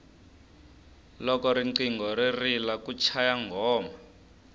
loko riqingho ri rila ku chaya nghoma